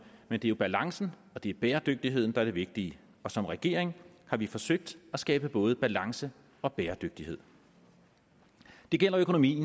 men det er jo balancen og det er bæredygtigheden der er det vigtige og som regering har vi forsøgt at skabe både balance og bæredygtighed det gælder økonomien